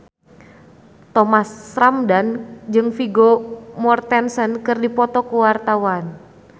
Thomas Ramdhan jeung Vigo Mortensen keur dipoto ku wartawan